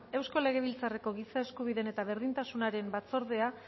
eusko legebiltzarreko giza eskubideen eta berdintasunaren batzordea